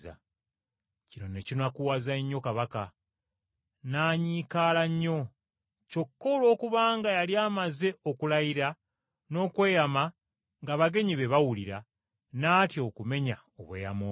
Kino ne kinakuwaza nnyo kabaka, n’anyiikaala nnyo, kyokka olwokubanga yali amaze okulayira n’okweyama ng’abagenyi be bawulira, n’atya okumenya obweyamo bwe.